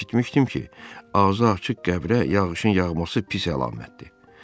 Eşitmişdim ki, ağzı açıq qəbrə yağışın yağması pis əlamətdir.